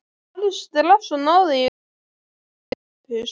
Farðu strax og náðu í Þorvald og Sophus.